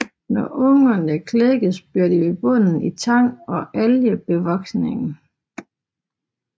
Når ungerne klækkes bliver de ved bunden i tang og algebevoksningen